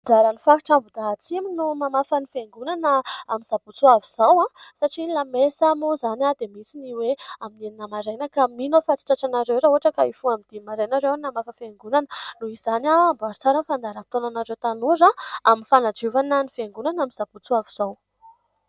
Anjaran'ny faritra Ambohidahy atsimo no mamafa ny fiangonana amin'ny sabotsy hoavy izao, satria ny lamesa moa izany dia misy ny hoe amin'ny enina maraina. Ka mino aho fa tsy tratranareo raha ohatra ka hoe hifoha amin'ny dimy maraina ianareo hamafa fiangonana. Noho izany, amboary tsara ny fandaharam-potoana anareo tanora amin'ny fanadiovana ny fiangoanana amin'ny sabotsy hoavy izao.